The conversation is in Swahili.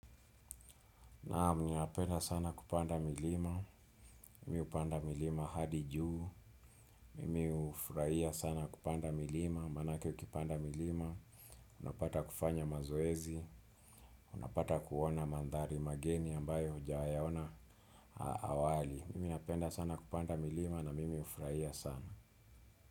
Naam ninapenda sana kupanda milima, mimi hupanda milima hadi juu, mimi hufurahia sana kupanda milima, maanake ukipanda milima, unapata kufanya mazoezi, unapata kuona mandhari mageni ambayo hujayaona awali. Mimi napenda sana kupanda milima na mimi hufurahia sana.